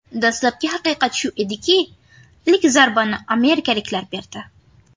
Dastlabki haqiqat shu ediki, ilk zarbani amerikaliklar berdi.